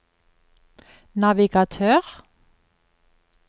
navigatør